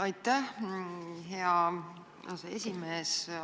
Aitäh, hea aseesimees!